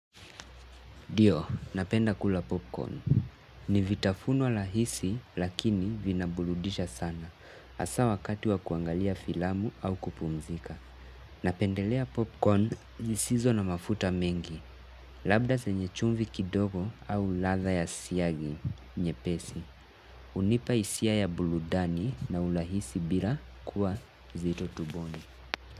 Ndio, napenda kula popcorn. Ni vitafunwa rahisi lakini vinaburudisha sana. Hasa wakati wa kuangalia filamu au kupumzika. Napendelea popcorn zisizo na mafuta mengi. Labda zenye chumvi kidogo au ladhaa ya siagi nyepesi. Hunipa hisia ya burudani na urahisi bila kuwa nzito tumboni.